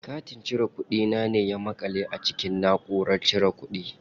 Katin cire kuɗi na ne ya maƙale a cikin naʼurar cire kuɗi.